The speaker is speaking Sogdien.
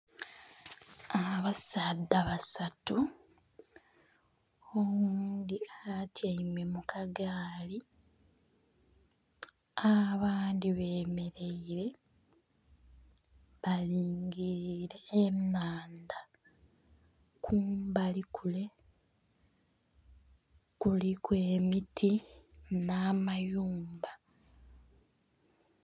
Abasaadha basatu oghundhi atyaime mukagaali abandhi beemereire balingirire enhandha kumbali kule kuliku emiti n'amayumba.